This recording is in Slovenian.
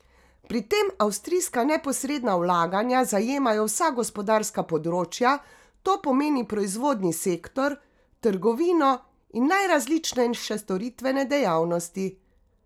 Pri tem avstrijska neposredna vlaganja zajemajo vsa gospodarska področja, to pomeni proizvodni sektor, trgovino in najrazličnejše storitvene dejavnosti.